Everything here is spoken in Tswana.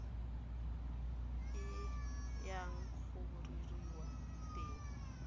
e yang go rerelwa teng